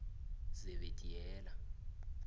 zebediela